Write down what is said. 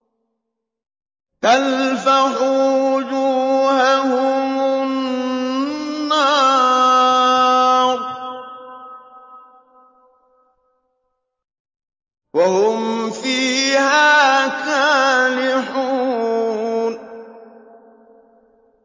تَلْفَحُ وُجُوهَهُمُ النَّارُ وَهُمْ فِيهَا كَالِحُونَ